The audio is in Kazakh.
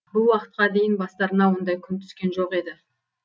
бұл уақытқа дейін бастарына ондай күн түскен жоқ еді